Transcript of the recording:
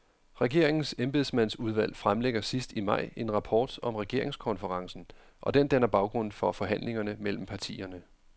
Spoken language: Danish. Regeringens embedsmandsudvalg fremlægger sidst i maj en rapport om regeringskonferencen, og den danner baggrund for forhandlingerne mellem partierne.